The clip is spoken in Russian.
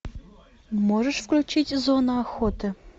можешь включить зона охоты